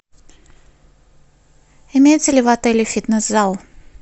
имеется ли в отеле фитнес зал